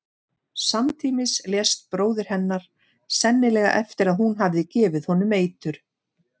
Samtímis lést bróðir hennar, sennilega eftir að hún hafði gefið honum eitur.